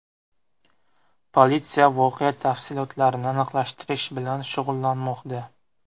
Politsiya voqea tafsilotlarini aniqlashtirish bilan shug‘ullanmoqda.